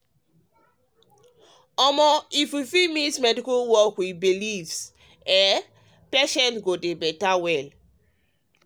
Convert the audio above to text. omo if we fit mix medical work with belief systems patients go dey better.